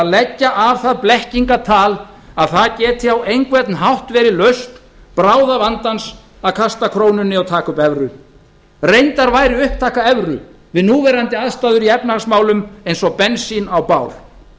leggja af það blekkingartal að það geti á einhvern hátt verið lausn bráðavandans að kasta krónunni og taka upp evru reyndar væri upptaka evru við núverandi aðstæður í efnahagsmálum eins og bensín á bál